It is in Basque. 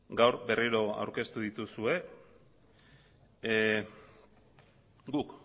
gaur berriro aurkeztu dituzue guk